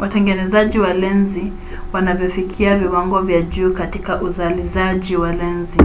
watengenezaji wa lenzi wanavyofikia viwango vya juu katika uzalizaji wa lenzi